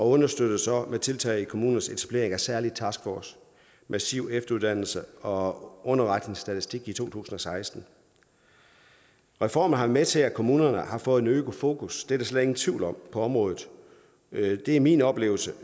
understøttes så med tiltag som kommunernes etablering af en særlig taskforce massiv efteruddannelse og underretningsstatistik i to tusind og seksten reformerne har været med til at kommunerne har fået et øget fokus det er der slet ingen tvivl om på området det er min oplevelse